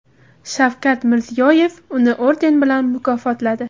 Shavkat Mirziyoyev uni orden bilan mukofotladi .